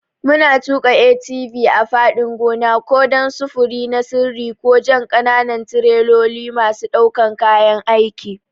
Muna tuƙa ATV a fadin gona, ko don sufuri na sirri ko jan ƙananan tireloli masu ɗaukan kayan aiki.